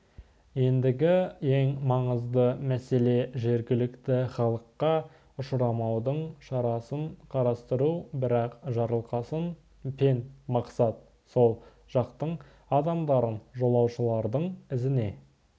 ендігі ең маңызды мәселе жергілікті халыққа ұшырамаудың шарасын қарастыру бірақ жарылқасын пен мақсат сол жақтың адамдарын жолаушылардың ізіне